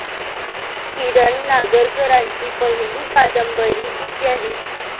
किरण नागरकरांची पहिली कादंबरी इत्यादी.